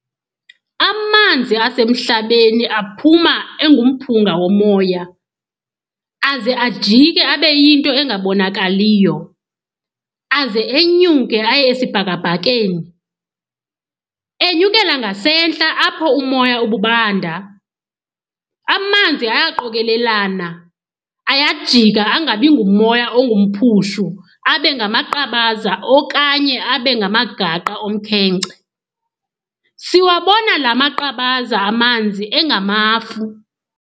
Amanzi asmhlabeni aaphuma engumphunga womoya, aze ajike abeyinto engabonakaliyo, aze enyuke aye esibhakabhakeni. enyukele ngasentla apho umoya ububanda, amanzi ayaqokelelana - ayajika angabi ngumoya ongumphushu abe ngamaqabaza okanye abe ngamagaqa omkhenkce. siwabona laa maqabaza amanzi engamafu.